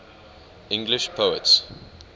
english poets